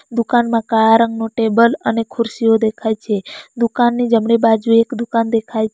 દુકાનમાં કાળા રંગનું ટેબલ અને ખુરસીઓ દેખાય છે દુકાનની જમણી બાજુએ એક દુકાન દેખાય --